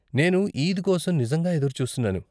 నేను ఈద్ కోసం నిజంగా ఎదురుచూస్తున్నాను.